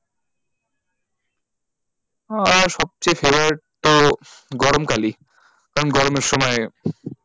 আহ সবচেয়ে favorite তো গরমকালই কারণ গরমের সময়,